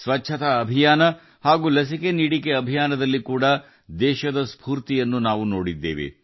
ಸ್ವಚ್ಛತಾ ಅಭಿಯಾನ ಮತ್ತು ಲಸಿಕೆ ಅಭಿಯಾನದಲ್ಲಿ ದೇಶದ ಚೈತನ್ಯವನ್ನು ನಾವು ನೋಡಿದ್ದೇವೆ